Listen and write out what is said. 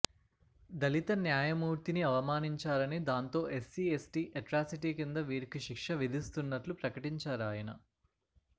దళిత న్యాయమూర్తిని అవమానించారని దాంతో ఎస్సీ ఎస్టీ ఎట్రాసిటీ కింద వీరికి శిక్ష విధిస్తున్నట్లు ప్రకటించారాయన